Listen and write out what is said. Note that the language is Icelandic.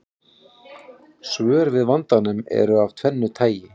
Svör við vandanum eru af tvennu tagi.